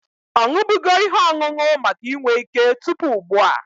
Ọ ṅụbụgo ihe ọṅụṅụ maka inwe ike tupu ụgbụa?